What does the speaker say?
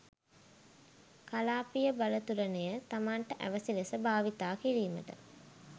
කලාපීය බලතුලන‍ය තමන්ට අවැසි ලෙස භාවිතා කිරීමට